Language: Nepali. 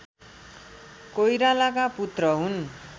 कोइरालाका पुत्र हुन्